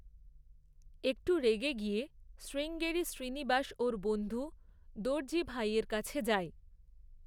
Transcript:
একটু রেগে গিয়ে শ্রীঙ্গেরি শ্রীনিবাস ওর বন্ধু দর্জিভাইয়ের কাছে যায়।